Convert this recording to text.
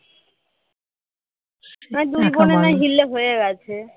আমার বোনের না হয় হিল্লে হয়ে গেছে